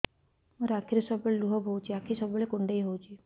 ମୋର ଆଖିରୁ ସବୁବେଳେ ଲୁହ ବୋହୁଛି ଆଖି ସବୁବେଳେ କୁଣ୍ଡେଇ ହଉଚି